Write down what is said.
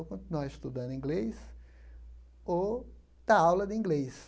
Ou continuar estudando inglês ou dar aula de inglês.